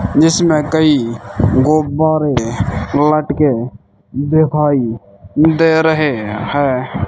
जिसमें कई गुब्बारे लटके दिखाई दे रहे हैं।